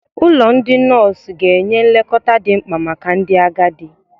Ụlọ ndị nọọsụ ga-enye nlekọta dị mkpa maka ndị agadi.